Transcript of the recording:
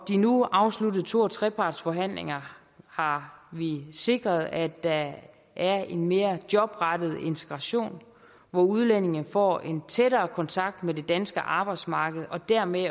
de nu afsluttede to og trepartsforhandlinger har vi sikret at der er en mere jobrettet integration hvor udlændinge får en tættere kontakt med det danske arbejdsmarked og dermed